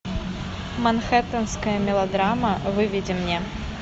манхэттенская мелодрама выведи мне